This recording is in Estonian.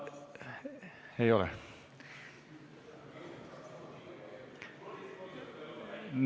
Ei ole.